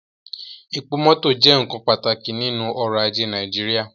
Epo mọtọ jẹ nkan pataki ninu ọrọ-aje Naijiria